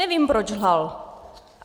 Nevím, proč lhal.